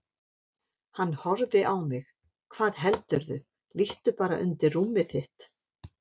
Hann horfði á mig: Hvað heldurðu, líttu bara undir rúmið þitt.